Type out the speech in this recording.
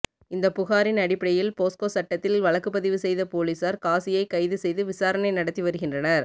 இந்த புகாரின் அடிப்படையில் போஸ்கோ சட்டத்தில் வழக்குப்பதிவு செய்த போலீசார் காசியை கைது செய்து விசாரணை நடத்தி வருகின்றனர்